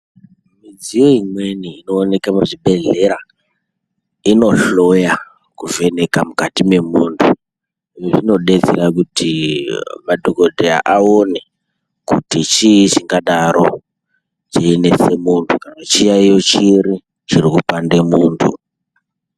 Midziyo imweni inooneke muzvibhedhlera inohloya kuvheneka mukati mwemunhu. Izvi zvinodetsera kuti madhokodheya aone kuti chii chingadaro cheinese munhu kana kuti chiyaiyo chiri chirikupande muntu.